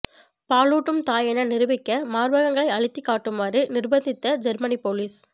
பாலூட்டும் தாய் என நிரூபிக்க மார்பகங்களை அழுத்திக் காட்டுமாறு நிர்பந்தித்த ஜெர்மனி போலீஸ்